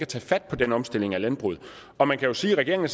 tage fat på den omstilling af landbruget og man kan sige at regeringen